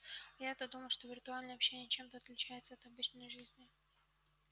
а я-то думала что виртуальное общение чем-то отличается от обычной жизни